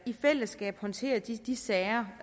i fællesskab håndterer de de sager